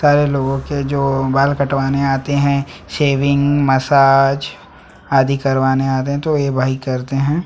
करे लोग के जो बाल कटवाने आते है शेविंग मसाज आदि करवाने आते हैं तो यह भाई करते हैं।